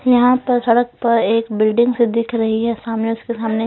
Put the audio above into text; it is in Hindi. यहां पर सड़क पर एक बिल्डिंग से दिख रही है सामने उसके सामने--